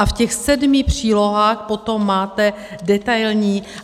A v těch sedmi přílohách potom máte detailní.